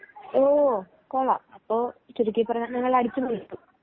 ഹോ കൊള്ളാം അപ്പോൾ ചുരുക്കിപ്പറഞ്ഞാൽ നിങ്ങൾ അടിച്ചുപൊളിച്ചു.